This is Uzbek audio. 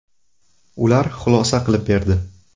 Ular xulosa qilib berdi.